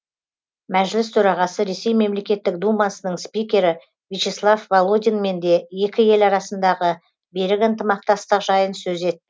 мәжіліс төрағасы ресей мемлекеттік думасының спикері вячеслав володинмен де екі ел арасындағы берік ынтымақтастық жайын сөз